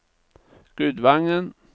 Gudvangen